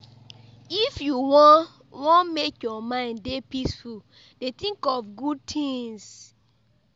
If you wan wan make your mind dey peaceful dey tink of good tins.